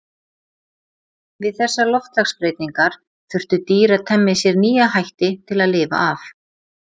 Við þessar loftslagsbreytingar þurftu dýr að temja sér nýja hætti til að lifa af.